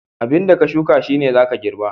15. Abinda ka shuka shine zaka girba.